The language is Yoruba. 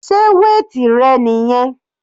Sé weight rẹ niyẹn?